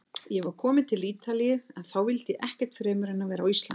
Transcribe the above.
Ég var kominn til Ítalíu- en þá vildi ég ekkert fremur en vera á Íslandi.